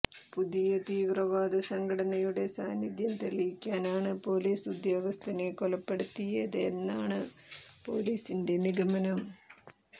പുതിയ തീവ്രവാദ സംഘടനയുടെ സാനിധ്യം തെളിയിക്കാനാണ് പൊലീസ് ഉദ്യോഗസ്ഥനെ കൊലപ്പെടുത്തിയതെന്നാണ് പൊലീസിന്റെ നിഗമനം